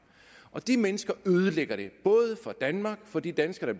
de mennesker ødelægger det både for danmark for de danskere